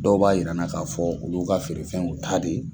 Dɔw b'a yira an na k'a fɔ olu ka feere fɛn y'u ta de ye.